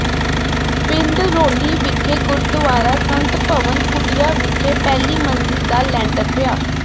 ਪਿੰਡ ਰੌਲੀ ਵਿਖੇ ਗੁਰਦੁਆਰਾ ਸੰਤ ਭਵਨ ਕੁਟੀਆ ਵਿਖੇ ਪਹਿਲੀ ਮੰਜ਼ਿਲ ਦਾ ਲੈਂਟਰ ਪਾਇਆ